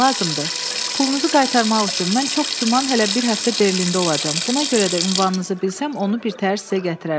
Pulunuzu qaytarmaq üçün mən çox güman hələ bir həftə Berlində olacam, buna görə də ünvanınızı bilsəm onu bir təhər sizə gətirərəm.